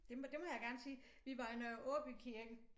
Det må det må jeg gerne sige vi var i Nørre Aaby Kirke